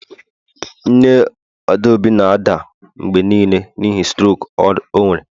Nne adaobi na-ada mgbe nile n'ihi strok o nwere